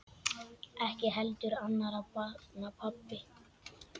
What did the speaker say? Ekki heldur annarra barna pabbi.